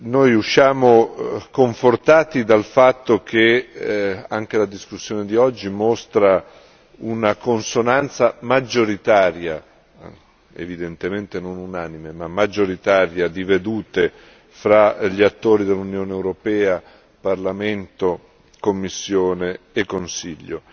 Noi usciamo confortati dal fatto che anche la discussione di oggi mostra una consonanza maggioritaria evidentemente non unanime, ma maggioritaria di vedute fra gli attori dell'Unione europea Parlamento, Commissione e Consiglio.